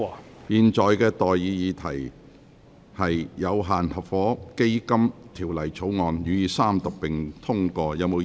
我現在向各位提出的待議議題是：《有限合夥基金條例草案》予以三讀並通過。